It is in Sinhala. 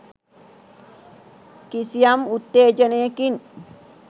කිසියම් උත්තේජනයකින්